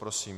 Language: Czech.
Prosím.